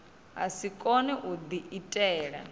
a si kone u diitela